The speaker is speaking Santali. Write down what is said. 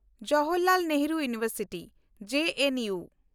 ᱡᱚᱣᱟᱦᱚᱨᱞᱟᱞ ᱱᱮᱦᱨᱩ ᱡᱮᱜᱮᱫ ᱵᱤᱨᱫᱟᱹᱜᱟᱲ (ᱡᱮ ᱮᱱ ᱭᱩ)